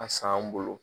A san u bolo